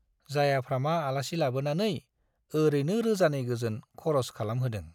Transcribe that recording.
जायाफ्रामा आलासि लाबोनानै ओरैनो रोजानै गोजोन खरस खालामहोदों।